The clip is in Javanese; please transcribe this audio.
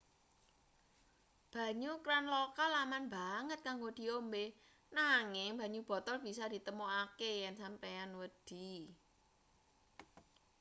banyu kran lokal aman banget kanggo diombe nanging banyu botol bisa ditemokake yen sampeyan wedi